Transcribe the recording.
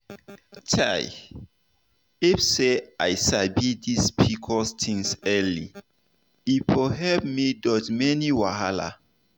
chai if to say i sabi this pcos thing early e for help me dodge many wahala.